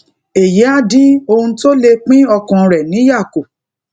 èyí á dín ohun tó lè pín ọkàn rè níyà kù